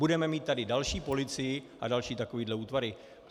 Budeme mít tady další policii a další takovéhle útvary.